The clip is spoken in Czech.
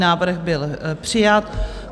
Návrh byl přijat.